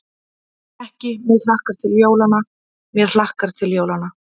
Ekki: mig hlakkar til jólanna, mér hlakkar til jólanna.